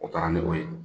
O kɛra ne bo ye